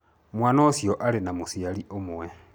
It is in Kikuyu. Mwaana ũcio arĩ na mũciari ũmwe.